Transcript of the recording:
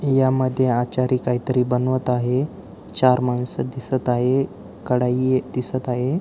या मध्ये आचारी काहीतरी बनवत आहे चार मानस दिसत आहे कडाई दिसत आहे.